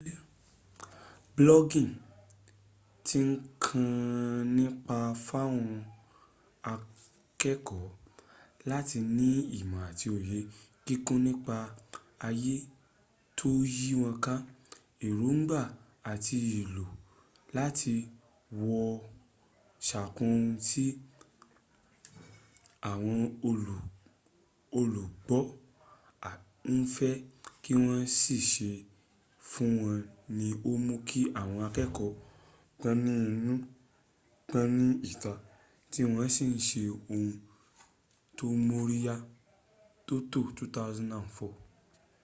blogging ti kàn án nípá fáwọn akẹ́kọ̀ọ́ láti fẹ ní ìmọ̀ àti òye kíkún nípa ayé tó yí wọn ká” èròǹgbà àti ìlò láti wo ṣàkun ohun tí àwọn olùgbọ́ ń fẹ́ kí wọn sì ṣe e fún wọn ni ó mú kí àwọn akẹ́kọ̀ọ́ gbọ́n nínú gbọ́n ní ìlta tí wọ́n si ń ṣe ohun tó móríyá. toto 2004